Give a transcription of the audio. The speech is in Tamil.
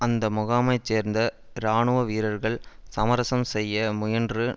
அந்த முகாமைச் சேர்ந்த இராணுவ வீரர்கள் சமரசம் செய்ய முயன்று